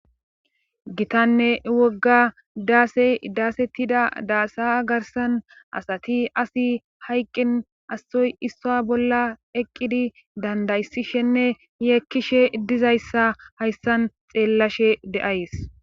gitanne wogga daase daasettida daasa garsan asati asi hayqqin issoy issuwa bolla eqqidi dandayssishenne yeekkishe dizayssa hayssan xeellashe de7ays